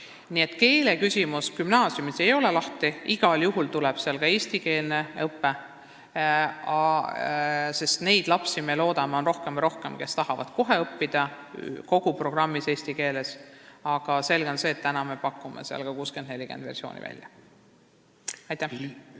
Nii et keeleküsimus gümnaasiumis ei ole lahendamata, igal juhul tuleb sinna ka eestikeelne õpe, sest neid lapsi, me loodame, on rohkem ja rohkem, kes tahavad õppida kohe kogu programmi ulatuses eesti keeles, aga selge on see, et me pakume seal täna välja ka versiooni 60 : 40.